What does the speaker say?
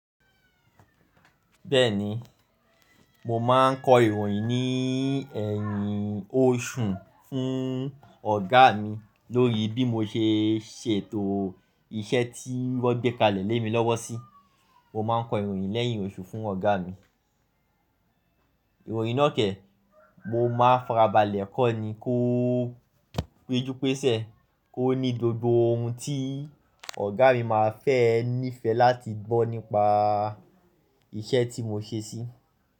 Bẹ́ẹ̀ni, mo má ń kọ ìròyìn ní ẹ̀yìn oṣù fún ọ̀gá mi lórí bí mo ṣe ṣètò iṣẹ́ tí wọ́n gbé kalẹ̀ lé mi lọ́wọ́ sí, mo má ń kọ ìròyìn lẹ́yìn oṣù fún ọ̀gá mi. Ìròyìn náà kẹ́, mo má farabalẹ̀ kọ́ni kó péju pese kó ní gbogbo ohun tí ọ̀gá mi má fẹ́ níìfẹ̀ láti gbọ́ nípa iṣẹ́ tí mo ṣe sí.